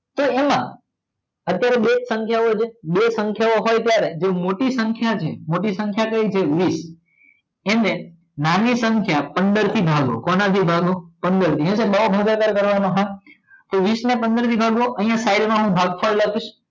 બે સંખ્યાઑ હોય ત્યારે મોટી સંખ્યા ઑ છે મોટી સંખ્યા કઈ છે વીસ એને નાની સંખ્યા પંદર થી ભાગો કોણ થી ભાગો પંદર થી આય તો બૌ ભાગાકાર કરવાના હે તો વીસ ને પંદર થી ભાગો આય સાઇડ માં હું ભાગફળ લખિસ